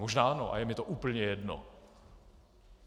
Možná ano a je mně to úplně jedno.